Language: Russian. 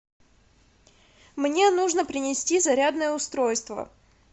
мне нужно принести зарядное устройство